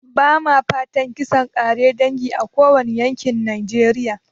Ba ma fatan kisan ƙare dangi a kowane yankin najeriya